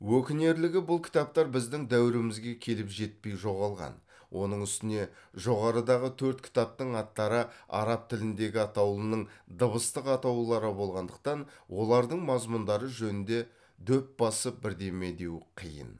өкінерлігі бұл кітаптар біздің дәуірімізге келіп жетпей жоғалған оның үстіне жоғарыдағы төрт кітаптың аттары араб тіліндегі атаулының дыбыстық атаулары болғандықтан олардың мазмұндары жөнінде дөп басып бірдеме деу қиын